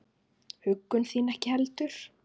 Huggun þín ekki heldur.